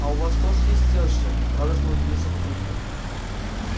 а у вас тоже есть тёща радостно удивился папулька